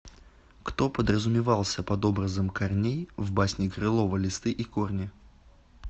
кто подразумевался под образом корней в басне крылова листы и корни